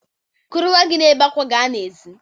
Kuru nnwa gị na-ebe àkwà ga n'èzí!